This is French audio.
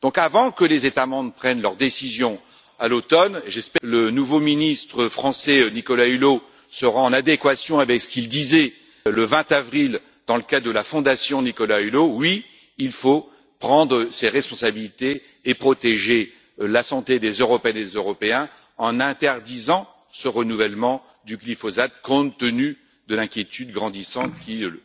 J'espère donc qu'avant que les États membres prennent leur décision, à l'automne, le nouveau ministre français, Nicolas Hulot, sera en adéquation avec ce qu'il disait, le 20 avril, dans le cadre de la Fondation Nicolas Hulot oui, il faut prendre ses responsabilités et protéger la santé des Européennes et des Européens, en interdisant ce renouvellement du glyphosate, compte tenu de l'inquiétude grandissante qu'il suscite.